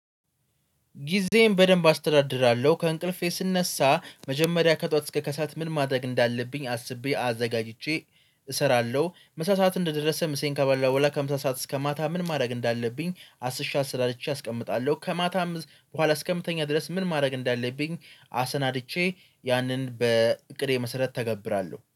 ጊዜዬን በደንብ አስተዳድራለሁ ከእንቅልፌ ስነሳ መጀመሪያ ከጧት እስከ ከሰአት ምን ማደግ እንዳለብኝ አስቤ አዘጋጅቼ እሰራለሁ። መሳሳት እንደደረሰ ምሴን ካባላው በኋላ ከሃምሳ ሰዓት እስከ ማታ ምን ማደግ እንዳለብኝ አስሽ አሰናድቼ አስቀምጣለሁ። ከማታም በኋላ እስከምተኛ ድረስ ምን ማድረግ እንዳለብኝ አሰናድቼ ያንን በእቅዴ መሰረት ተገብራለሁ